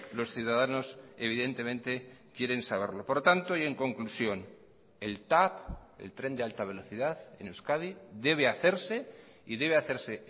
los ciudadanos evidentemente quieren saberlo por lo tanto y en conclusión el tav el tren de alta velocidad en euskadi debe hacerse y debe hacerse